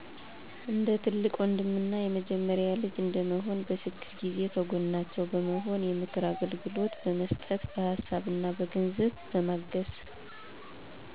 እንደ ትልቅ ወንድም እና የመጀመሪያ ልጂ እንደመሆን። በችግር ጊዜ ከጎናቸው በመሆን የምክር አገልግሎት በመስጠት በሃሳብ እና በገንዝ በማገዝ